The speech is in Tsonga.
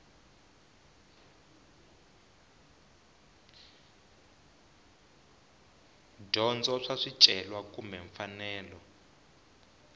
dyondza swa swicelwa kumbe mfanelo